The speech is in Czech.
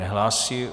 Nehlásí.